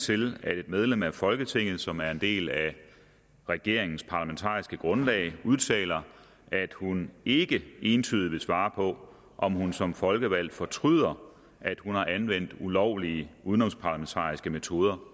til at et medlem af folketinget som er en del af regeringens parlamentariske grundlag udtaler at hun ikke entydigt vil svare på om hun som folkevalgt fortryder at hun har anvendt ulovlige udenomsparlamentariske metoder